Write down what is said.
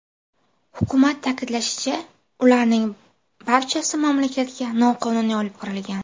Hukumat ta’kidlashicha, ularning barchasi mamlakatga noqonuniy olib kirilgan.